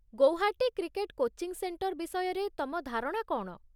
Guwahati cricket coaching centre ବିଷୟରେ ତମ ଧାରଣା କ'ଣ?